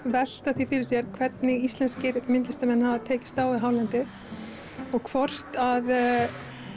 velta því fyrir sér hvernig íslenskir myndlistarmenn hafa tekist á við hálendið og hvort að